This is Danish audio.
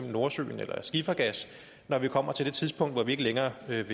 i nordsøen eller skifergas når vi kommer til det tidspunkt hvor vi ikke længere skal